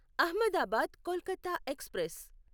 Ahmedabad Kolkata express